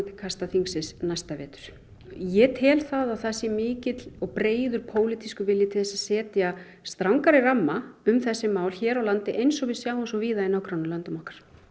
til kasta þingsins næsta vetur ég tel að það sé mikill og breiður pólitískur vilji til að setja strangari ramma um þessi mál hér á landi eins og við sjáum svo víða í nágrannalöndum okkar